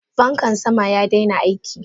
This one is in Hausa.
Fankan sama yadaina aiki.